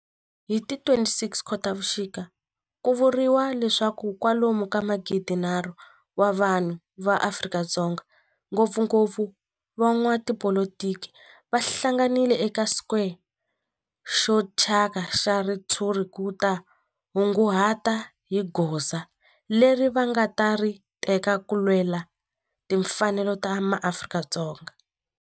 Hi ti 26 Khotavuxika ku vuriwa leswaku kwalomu ka magidinharhu wa vanhu va Afrika-Dzonga, ngopfungopfu van'watipolitiki va hlanganile eka square xo thyaka xa ritshuri ku ta kunguhata hi goza leri va nga ta ri teka ku lwela timfanelo ta maAfrika-Dzonga.